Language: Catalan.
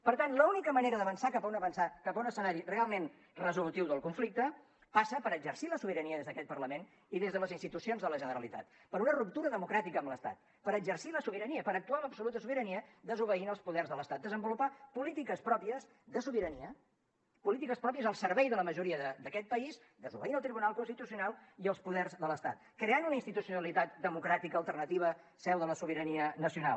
per tant l’única manera d’avançar cap a un escenari realment resolutiu del conflicte passa per exercir la sobirania des d’aquest parlament i des de les institucions de la generalitat per una ruptura democràtica amb l’estat per exercir la sobirania per actuar amb absoluta sobirania desobeint els poders de l’estat desenvolupar polítiques pròpies de sobirania polítiques pròpies al servei de la majoria d’aquest país desobeint el tribunal constitucional i els poders de l’estat creant una institucionalitat democràtica alternativa seu de la sobirania nacional